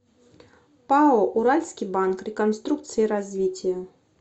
пао уральский банк реконструкции и развития